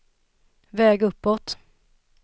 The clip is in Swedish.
väg uppåt